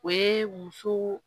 O ye muso